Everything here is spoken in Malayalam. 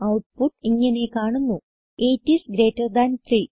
ഔട്ട്പുട്ട് ഇങ്ങനെ കാണുന്നു 8 ഐഎസ് ഗ്രീറ്റർ താൻ 3